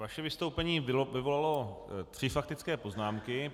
Vaše vystoupení vyvolalo tři faktické poznámky.